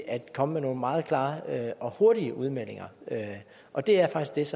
at komme med nogle meget klare og hurtige udmeldinger og det er faktisk